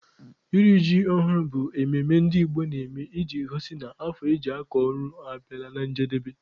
Iri ji ọhụrụ bụ mmemme ndị Igbo na-eme iji gosi na afọ eji akọ ọrụ abịala na njedebe.